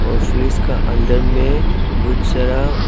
office का अंदर में बहुत सारा--